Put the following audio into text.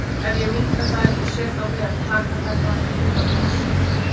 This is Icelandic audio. Ef ég minnka þær og set á vef taka þær þá ekki minna pláss?